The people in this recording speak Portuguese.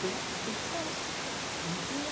Fui a fui descalço, não tinha.